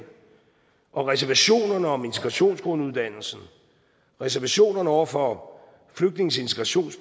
og reservationerne om integrationsgrunduddannelsen reservationerne over for flygtninges integration